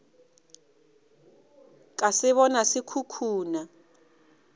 ka se bona se khukhuna